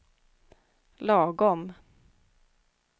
lagom